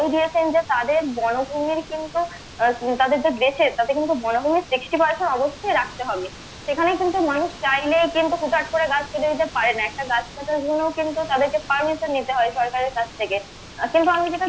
তাদের বনভুমির কিন্তু আহ তাদের যে দেশের তাদের বনভুমির কিন্তু sixty percent অবশ্যই রাখতে হবে এখানে কিন্তু মানুষ চাইলেই কিন্তু হুটহাট করে গাছ কেটে দিতে পারেনা গাছ কাটার জন্য কিন্তু তাদেরকে permission নিতে হয় সকারের কাছ থেকে কিন্তু আমি যেটা